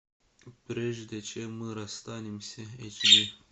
прежде чем мы расстанемся эйч ди